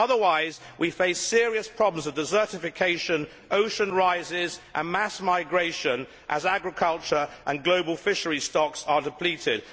Otherwise we face serious problems of desertification, rising ocean levels and mass migration as agriculture and global fishery stocks are depleted.